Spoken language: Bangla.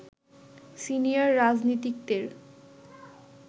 সিনিয়র রাজনীতিকদের